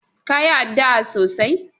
ka yi addu'a sosai.!